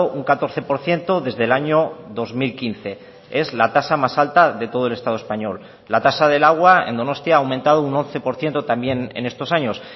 un catorce por ciento desde el año dos mil quince es la tasa más alta de todo el estado español la tasa del agua en donostia ha aumentado un once por ciento también en estos años